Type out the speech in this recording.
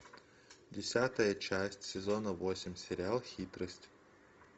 десятая часть сезона восемь сериал хитрость